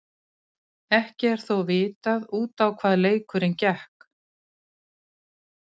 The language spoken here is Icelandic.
Ekki er þó vitað út á hvað leikurinn gekk.